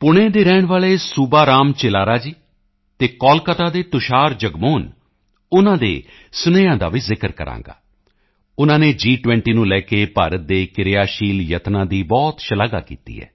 ਪੁਣੇ ਦੇ ਰਹਿਣ ਵਾਲੇ ਸੂਬਾ ਰਾਓ ਚਿੱਲਾਰਾ ਜੀ ਅਤੇ ਕੋਲਕਾਤਾ ਦੇ ਤੁਸ਼ਾਰ ਜਗਮੋਹਨ ਉਨ੍ਹਾਂ ਦੇ ਸੁਨੇਹਿਆਂ ਦਾ ਵੀ ਜ਼ਿਕਰ ਕਰਾਂਗਾ ਉਨ੍ਹਾਂ ਨੇ ਜੀ20 ਨੂੰ ਲੈ ਕੇ ਭਾਰਤ ਦੇ ਕਿਰਿਆਸ਼ੀਲ ਯਤਨਾਂ ਦੀ ਬਹੁਤ ਸ਼ਲਾਘਾ ਕੀਤੀ ਹੈ